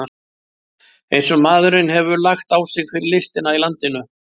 Eins og maðurinn hefur lagt á sig fyrir listina í landinu!